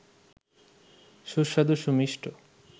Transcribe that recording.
সুস্বাদু সুমিষ্ট